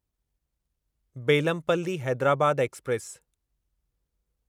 Bellampalli Hyderabad express